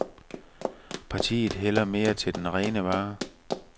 Partiet hælder mere til den rene vare.